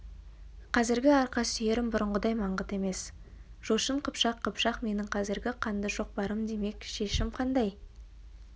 қазіргі арқа сүйерім бұрынғыдай маңғыт емес жошын қыпшақ қыпшақ менің қазір қанды шоқпарым демек шешім қандай